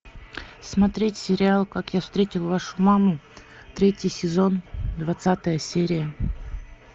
смотреть сериал как я встретил вашу маму третий сезон двадцатая серия